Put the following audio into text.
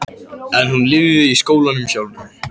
En hún lifði í skólanum sjálfum.